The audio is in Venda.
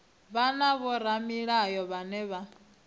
vhe na vhoramilayo vhane vha